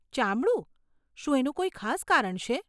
ચામડું? શું એનું કોઈ ખાસ કારણ છે?